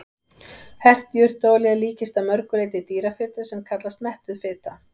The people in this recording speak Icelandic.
Hert jurtaolía líkist að mörgu leyti dýrafitu sem kallast mettuð fita.